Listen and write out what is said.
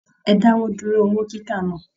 E dáwọ dúró owó kíkà náà!